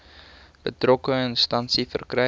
betrokke instansie verkry